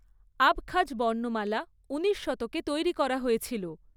Abkhaz বর্ণমালা উনিশ শতকে তৈরি করা হয়েছিল।